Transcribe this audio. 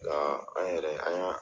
Nka an yɛrɛ an yan